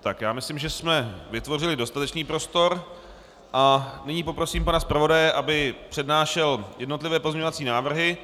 Tak, já myslím, že jsme vytvořili dostatečný prostor, a nyní poprosím pana zpravodaje, aby přednášel jednotlivé pozměňovací návrhy